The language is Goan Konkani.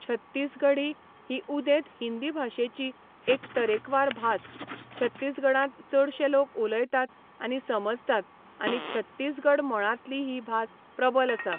छत्तीसगढी ही उदेंत हिंदी भाशेची एक तरेकवार भास छत्तीसगडांत चडशें लोक उलयतात आनी समजतात आनी छत्तीसगढ मळांतली ही भास प्रबल आसा.